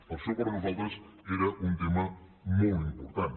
per això per nosaltres era un tema molt important